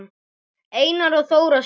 Einar og Þóra skildu.